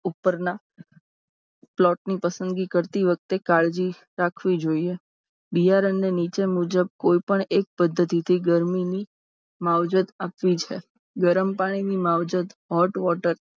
ઉપરના પ્લોટની પસંદગી કરતી વખતે કાળજી રાખવી જોઈએ. બિયારણને નીચે મુજબ કોઈપણ એક પદ્ધતિ થી માવજત આપવી છે. ગરમ પાણીની માવજત hot water